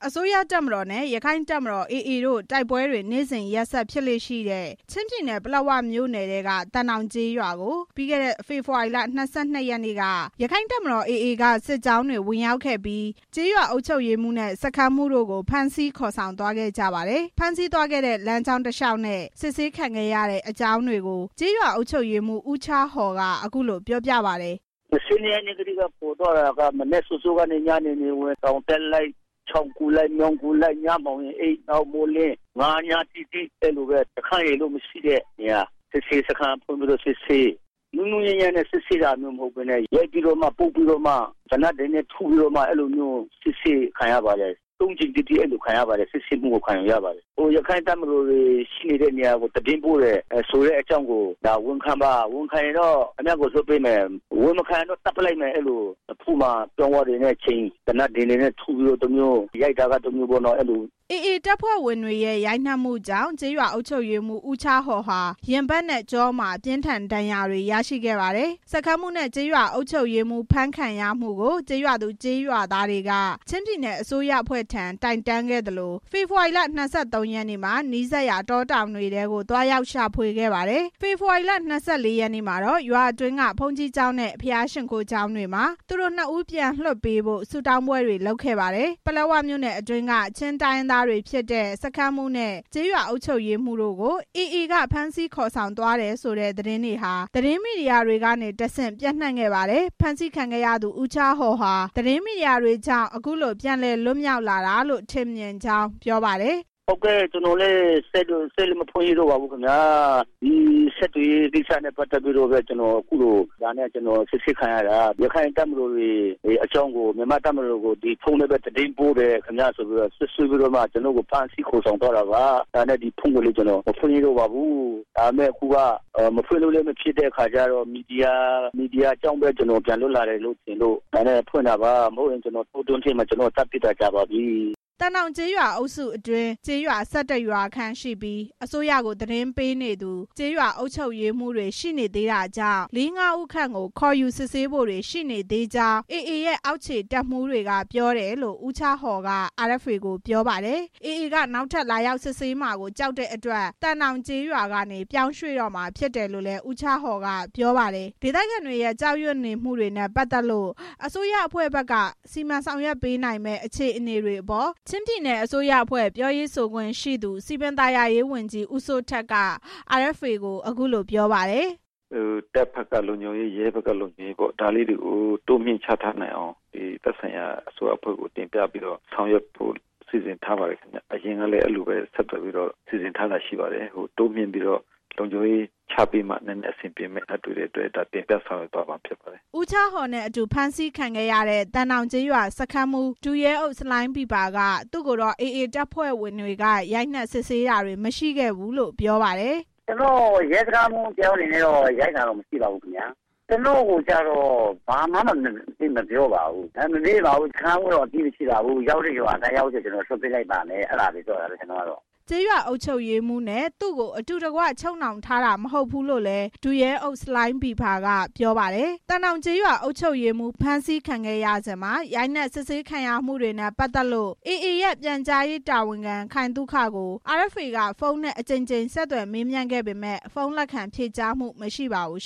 အစိုးရတပ်မတော်နဲ့ ရက္ခိုင့်တပ်မတော် AA တို့ တိုက်ပွဲတွေ နေ့စဉ်ရက်ဆက် ဖြစ်လေ့ရှိတဲ့ ချင်းပြည်နယ်၊ ပလက်ဝမြို့နယ်ထဲက သံတောင်ကျေးရွာကို ပြီးခဲ့တဲ့ ဖေဖော်ဝါရီလ ၂၂ ရက်နေ့က ရက္ခိုင့်တပ်မတော် AA က စစ်ကြောင်းတွေ ဝင်ရောက်ခဲ့ပြီး ကျေးရွာအုပ်ချုပ်ရေးမှူးနဲ့ စခန်းမှူးတို့ကို ဖမ်းဆီးခေါ်ဆောင်သွားခဲ့ကြပါတယ်။ ဖမ်းဆီးသွားခဲ့တဲ့ လမ်းကြောင်းတလျှောက်နဲ့ စစ်ဆေးခံရတဲ့ အကြောင်းတွေကို ကျေးရွာအုပ်ချုပ်ရေးမှူး ဦးချားဟော် က အခုလို ပြောပြပါတယ်။ "၂၂ ရက်နေ့ထဲက ခေါ်သွားတာက ညနေနေဝင် တောင်တက်လိုက်၊ ချောင်းကူးလိုက်၊ ညမှောင်ရင်အိပ်၊ နောက်မိုးလင်း၊ ၅ ညတိတိအဲ့လိုပဲ စခန်းရယ်လို့ မရှိတဲ့နေရာ၊ စစ်ဆေးရေးစခန်းဖွင့်ပြီး စစ်ဆေး၊ နုနုညံ့ညံ့နဲ့ စစ်ဆေးတာမျိုး မဟုတ်ဘဲ ရိုက်ပြီးပုတ်ပြီး သေနတ်တွေနဲ့ထုပြီးမှ စစ်ဆေးခံရတယ်။ ရက္ခိုင့်တပ်မတော်တွေ ရှိတဲ့နေရာကို သတင်းပို့တယ်ဆိုတာကို ဝန်ခံပါ။ ဝန်ခံရင်ခင်ဗျားကို လွှတ်ပေးမယ်။ မဝန်ခံရင်ခင်ဗျားကို သတ်ပလိုက်မယ်ဆိုပြီး နဖူးမှာ ပြောင်းဝတွေနဲ့ချိန်၊ သေနတ်ဒင်တွေနဲ့ ထုပြီးမှ ရိုက်တာက တမျိုးပေါ့" စခန်းမှူးနဲ့ ကျေးရွာအုပ်ချုပ်ရေးမှူး ဖမ်းခံရမှုကို ကျေးရွာသူ၊ ကျေးရွာသားတွေက ချင်းပြည်နယ်အစိုးရအဖွဲ့ထံ တိုင်တန်းခဲ့သလို ဖေဖော်ဝါရီလ ၂၃ ရက်နေ့မှာ နီးစပ်ရာတောတောင်တွေထဲကို သွားရောက်ရှာခဲ့ပါတယ်။ ဖေဖော်ဝါရီလ၂၄ ရက်နေ့မှာတော့ ရွာအတွင်းက ဘုန်းကြီးကျောင်းနဲ့ ဘုရားရှိခိုးကျောင်းတွေမှာ သူတို့နှစ်ဦး ပြန်လွှတ်ပေးဖို့ ဆုတောင်းပွဲတွေလုပ်ခဲ့ပါတယ်။ ပလက်ဝမြို့နယ်အတွင်းက ချင်းတိုင်းရင်းသားဖြစ်တဲ့ စခန်းမှူးနဲ့ ကျေးရွာအုပ်ချုပ်ရေးမှူးကို AA က ဖမ်းဆီးသွားတယ်ဆိုတဲ့ သတင်းတွေဟာ သတင်းမီဒီယာတွေကတဆင့် ပျံ့နှံ့ခဲ့ပါတယ်။ ဖမ်းဆီးခံခဲ့ရသူ ဦးချားဟော်က သတင်းမီဒီယာတွေကြောင့် အခုလို ပြန်လည်လွတ်မြောက်လာတာလို့ ထင်မြင်ကြောင်း ပြောပါတယ်။ "ကျနော်လည်း စက်လည်းမဖွင့်ရဲတော့ပါဘူး။ ဒီဆက်သွယ်ရေးကိစ္စနဲ့ပဲ ကျနော် အခုလို စစ်ဆေးခံခဲ့ရတာပါ။ ရက္ခိုင့်တပ်မတော်အကြောင်းကို မြန်မာတပ်မတော်ကို ဖုန်းနဲ့ပဲ သတင်းပေးတယ်ဆိုပြီး စွပ်စွဲပြီးဖမ်းဆီးခံရတာ။ အဲဒါမို့ ဖုန်းကိုလည်း မဖွင့်ရဲတော့ဘူး။ ဒါပေမဲ့ ဒီမီဒီယာကြောင့် ကျနော် ပြန်လွတ်လာတယ်ထင်လို့ ကျနော် ပြန်ဖွင့်တာပါ။ မဟုတ်ရင် ကျနော့်ကို တောတွင်းထဲမှာ သတ်ပစ်တာကြာပါပြီ" သံတောင်ကျေးရွာအုပ်စုအတွင်း ကျေးရွာ ၁၁ ရွာခန့်ရှိပြီး အစိုးရကို သတင်းပေးနေသူ ကျေးရွာအုပ်ချုပ်ရေးမှူးတွေ ရှိနေသေးတာကြောင့် လေး၊ ငါး ဦးခန့်ကို ခေါ်ယူစစ်ဆေးဖို့တွေ ရှိနေသေးကြောင်း AA ရဲ့ အောက်ခြေတပ်မှူးတွေက ပြောတယ်လို့ ဦးချားဟော်က RFA ကို ပြောပါတယ်။ AA က နောက်ထပ်လာရောက်ဖမ်းဆီးမှာကို ကြောက်တဲ့အတွက် သံတောင်ကျေးရွာကနေ ပြောင်းရွှေ့တော့မှာဖြစ်တယ်လို့လည်း ဦးချားဟော် ကပြောပါတယ်။ ဒေသခံတွေရဲ့ ကြောက်ရွံနေမှုတွေနဲ့ ပတ်သက်လို့ အစိုးရအဖွဲ့ဘက်က စီမံဆောင်ရွက်ပေးနိုင်မယ့် အခြေအနေတွေအပေါ် ချင်းပြည်နယ်အစိုးရအဖွဲ့ ပြောရေးဆိုခွင့်ရှိသူ စည်ပင်သာယာရေးဝန်ကြီး ဦးစိုးထက်က RFA ကို အခုလို ပြောပါတယ်။ "တပ်ဘက်ကလုံခြုံရေး၊ ရဲဘက်ကလုံခြုံရေးတွေကို ဒါလေးတွေကို တိုးမြှင့်ချထားနိုင်အောင် သက်ဆိုင်ရာအစိုးရအဖွဲ့ကို ဆောင်ရွက်ဖို့ စီစဉ်ထားပါတယ်။ တိုးမြှင့်ပြီးလုံခြုံရေးချထားမှ အဆင်ပြေမှာဖြစ်တဲ့အတွက် ဆောင်ရွက်သွားမှာဖြစ်ပါတယ်" ဦးချားဟော်နဲ့ အတူ ဖမ်းဆီးခံခဲ့ရတဲ့ သံတောင်ကျေးရွာစခန်းမှူး ဒုရဲအုပ် ဆလိုင်းဘီးဖာက သူကိုတော့ AA တပ်ဖွဲ့ဝင်တွေက ရိုက်နှက်စစ်ဆေးတာတွေ မရှိခဲ့ဘူးလို့ ပြောပါတယ်။ "ကျနော်ကို ရဲစခန်းမှူးတစ်ယောက်အနေနဲ့ ရိုက်တာတော့ မရှိပါဘူးခင်ဗျ။ ကျနော်ကိုကျတော့ ဘာမှ အပြစ်မပြောပါဘူး။ မမေးပါဘူး။ စခန်းမှူးက အပြစ်မရှိပါဘူး။ ရောက်တဲ့ရွာရောက်ရင် လွှတ်ပေးပါမယ် အဲ့လိုပဲ ပြောပါတယ်" ကျေးရွာအုပ်ချုပ်ရေးမှူးနဲ့ သူကို အတူတကွ ချုပ်နှောင်ထားတာ မဟုတ်ဘူးလို့လည်း ဒုရဲအုပ် ဆလိုင်းဘီးဖာ ကပြောပါတယ်။ သံတောင်ကျေးရွာ အုပ်ချုပ်ရေးမှူး ဖမ်းဆီးခံရစဉ်မှာ ရိုက်နှက်စစ်ဆေးခံရမှုတွေနဲ့ ပတ်သက်ပြီး AA ရဲ့ ပြန်ကြားရေးတာဝန်ခံ ခိုင်သုခကို RFA က ဖုန်းနဲ့ အကြိမ်ကြိမ် ဆက်သွယ်မေးမြန်းခဲ့ပေမယ့် ဖုန်းလက်ခံဖြေကြားမှု မရှိပါဘူး